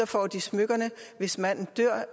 får de smykkerne og hvis manden dør